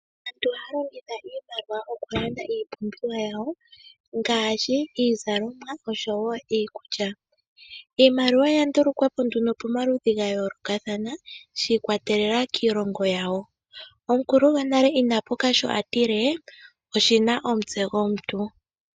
Aantu ohaya longitha iimaliwa okulanda iipumbiwa yawo ngaashi, iizalomwa, noshowo iikulya. Iimaliwa oya ndulukwapo nduno pomaludhi gayoolokathana, shi ikwatelela kiilongo yawo. Omukulu gonale ina puka sho atile, oshina omutse gwomuntu.